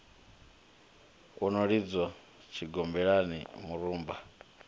u no lidzwa tshigombelani murumba